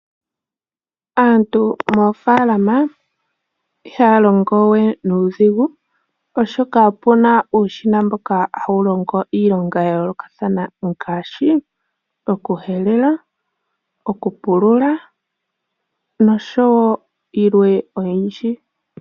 Aantu moofalama ihaya longo we nuudhigu oshoka opuna uushina mboka hawu longo iilonga ya yoolokathana, ngaashi okuhelela, okupulula, noshowo yilwe oyindji.